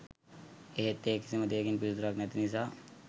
එහෙත් ඒ කිසිම දෙයකින් පිළිතුරක් නැති නිසා